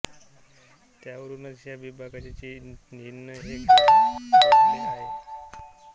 त्यावरूनच ह्या विभागाचे ऱ्हिन हे नाव पडले आहे